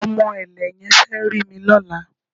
Ọmọ ẹ̀lẹ̀ yẹn fẹ́ rí mi lọ́la